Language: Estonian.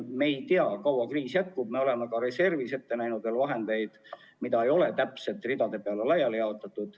Me ei tea, kui kaua see kriis jätkub, ning oleme ka reservis ette näinud vahendeid, mida ei ole täpselt ridade peale laiali jaotatud.